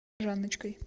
жанночкой